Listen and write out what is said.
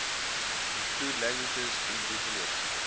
include languages indigenous